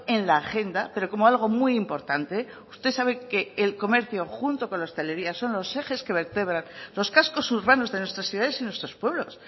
en la agenda pero como algo muy importante usted sabe que el comercio junto con la hostelería son los ejes que vertebran los cascos urbanos de nuestras ciudades y nuestros pueblos